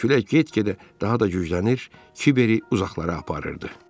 Külək get-gedə daha da güclənir, Kiberi uzaqlara aparırdı.